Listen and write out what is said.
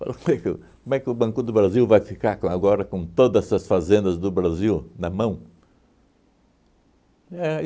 Como é que o como é que o Banco do Brasil vai ficar com agora com todas essas fazendas do Brasil na mão? Éh